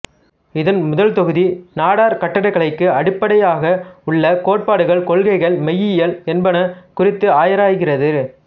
இதன் முதல் தொகுதி நாட்டார் கட்டிடக்கலைக்கு அடிப்படையாகவுள்ள கோட்பாடுகள் கொள்கைகள் மெய்யியல் என்பன குறித்து ஆராய்கிறது